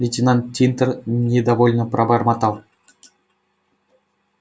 лейтенант тинтер недовольно пробормотал